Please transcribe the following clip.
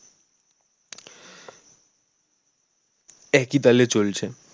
একি তালে চলছে